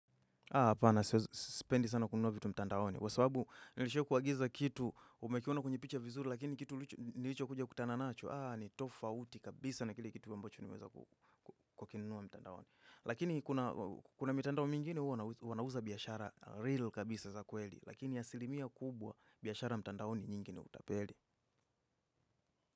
Apana, sipendi sana kununua vitu mtandaoni. Kwa sababu nilisha kuagiza kitu, umekiona kwenye picha vizuri, lakini kitu nilichokuja kutana nacho, aa, ni tofauti kabisa na kile kitu ambacho niweza kukunuwa mtandaoni. Lakini kuna mtandao mingine huwa wanauza biashara real kabisa za kweli, lakini asilimia kubwa biashara mtandaoni nyingine utapeli.